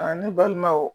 A ne balimaw